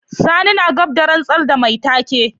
Sani na gab da rantsar da mai take.